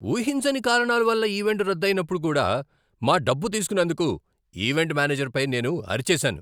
ఊహించని కారణాలవల్ల ఈవెంట్ రద్దు అయినప్పుడు కూడా మా డబ్బు తీసుకున్నందుకు ఈవెంట్ మేనేజర్పై నేను అరిచేసాను.